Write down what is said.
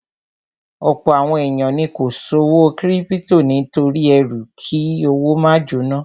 Ọ̀pọ̀ àwọn èèyàn ni kò ṣòwò kírípítò nítorí ẹrú kí owó máa jóná